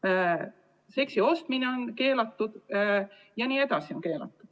Ka seksi ostmine on keelatud jne.